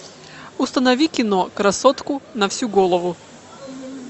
установи кино красотку на всю голову